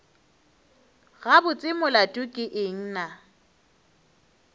gabotse molato ke eng na